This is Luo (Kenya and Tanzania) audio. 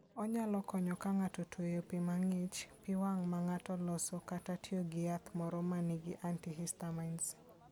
Onyalo konyo ka ng'ato otweyo pi mang'ich, pi wang' ma ng'ato oloso, kata tiyo gi yath moro ma nigi antihistamines.